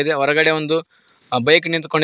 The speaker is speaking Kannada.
ಇದೆ ಹೊರಗಡೆ ಒಂದು ಬೈಕ್ ನಿಂತ್ಕೋನ್.